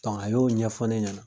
a y'o ɲɛfɔ ne ɲɛna.